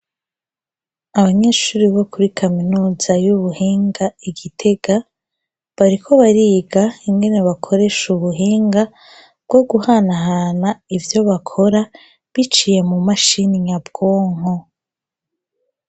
Abanyeshuri bo kuri kaminuza y'ubuhinga igitega bariko bariga ingene bakoresha ubuhinga bwo guhanahana ivyo bakora biciye mu mashini nyabwonko.